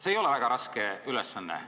See ei ole väga raske ülesanne.